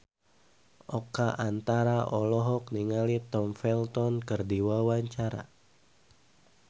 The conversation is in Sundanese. Oka Antara olohok ningali Tom Felton keur diwawancara